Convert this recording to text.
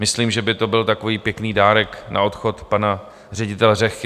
Myslím, že by to byl takový pěkný dárek na odchod pana ředitele Řehky.